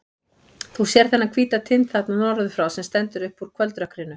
Þú sérð þennan hvíta tind þarna norður frá, sem stendur upp úr kvöldrökkrinu.